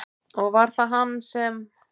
Og var það hann sem?